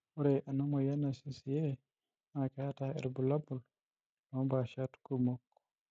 ore ena moyian e CCA naa keeta irbulabol loo mpaashat kumok.